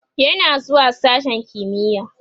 yana zuwa sashen kimiya